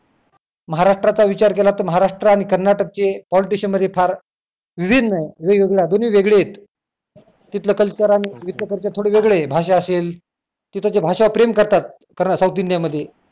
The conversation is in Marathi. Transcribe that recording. महाराष्ट्राचा विचार केला तर महाराष्ट्र आणि कर्नाटकचे politician मध्ये फार विभिन्न वेगवेगळा दोन्ही वेगळी आहेत तिथलं culture आणि इथलं culture थोडं वेगळी आहेत भाषा असेल तिकडच्या भाषावर प्रेम करतात कर्नाटक South India मध्ये